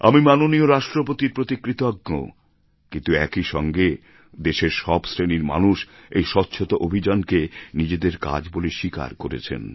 আমি মাননীয় রাষ্ট্রপতির প্রতি কৃতজ্ঞ কিন্তু একই সঙ্গে দেশের সব শ্রেণির মানুষ এই স্বচ্ছতা অভিযানকে নিজেদের কাজ বলে স্বীকার করেছেন